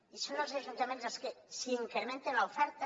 i són els ajuntaments els que si incrementa l’oferta